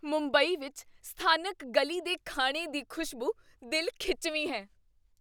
ਮੁੰਬਈ ਵਿੱਚ ਸਥਾਨਕ ਗਲੀ ਦੇ ਖਾਣੇ ਦੀ ਖ਼ੁਸ਼ਬੂ ਦਿਲ ਖਿੱਚਵੀਂ ਹੈ।